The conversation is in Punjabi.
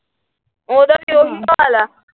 ਉਹਦਾ ਵੀ ਉਹੀ ਹਾਲ ਆ ।